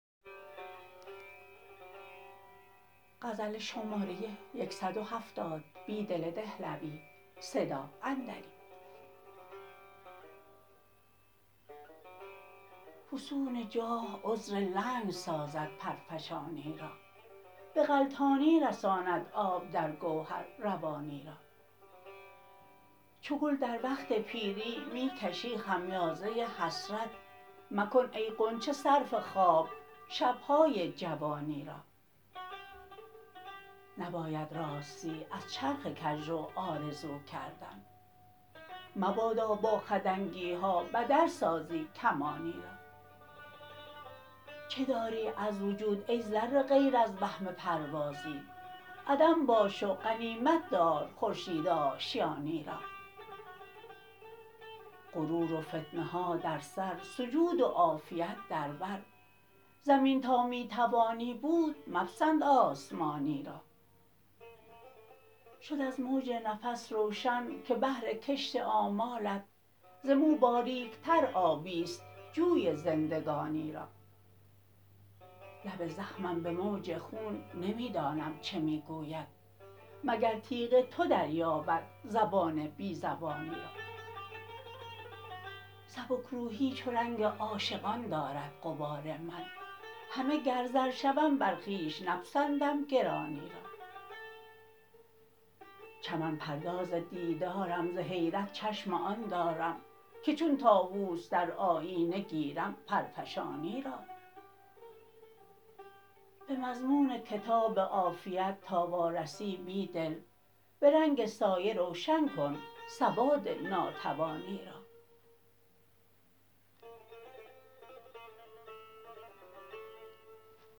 فسون جاه عذر لنگ سازد پرفشانی را به غلتانی رساند آب درگوهر روانی را چوگل دروقت پیری می کشی خمیازه حسرت مکن ای غنچه صرف خواب شبهای جوانی را نباید راستی از چرخ کجرو آرزوکردن مبادا با خدنگیها بدل سازی کمانی را چه داری از وجود ای ذره غیر ازوهم پروازی عدم باش و غنیمت دار خورشید آشیانی را غرور و فتنه ها در سر سجود و عافیت در بر زمین تا می توانی بود مپسند آسمانی را شد از موج نفس روشن که بهرکشت آمالت ز مو باریکتر آبی ست جوی زندگانی را لب زخمم به موج خون نمی دانم چه می گوید مگرتیغ تو دریابد زبان بی زبانی را سبکروحی چو رنگ عاشقان دارد غبار من همه گر زر شوم بر خویش نپسندم گرانی را چمن پرداز دیدرم ز حیرت چشم آن دارم که چون طاووس در آیینه گیرم پرفشانی را به مضمون کتاب عافیت تا وارسی بیدل به رنگ سایه روشن کن سواد ناتوانی را